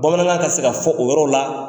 Bamanan ka se ka fɔ o yɔrɔ la.